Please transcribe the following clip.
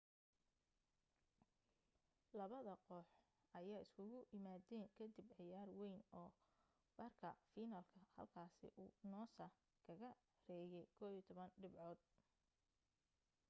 labada koox ayaa isugu imaadeen ka dib ciyaar wayn oo barka finalka halkaasi uu noosa kaga reeyay 11 dhibcood